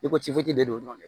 I ko ci de don dɔrɔn